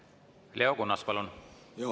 Leo Kunnas, palun!